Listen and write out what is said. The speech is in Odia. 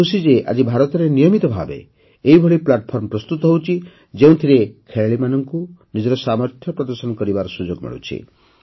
ମୁଁ ଖୁସି ଯେ ଆଜି ଭାରତରେ ନିୟମିତ ଭାବେ ଏଇଭଳି ପ୍ଲାଟଫର୍ମ ପ୍ରସ୍ତୁତ ହେଉଛି ଯେଉଁଥିରେ ଖେଳାଳିମାନଙ୍କୁ ନିଜର ସାମର୍ଥ୍ୟ ପ୍ରଦର୍ଶନ କରିବାର ସୁଯୋଗ ମିଳୁଛି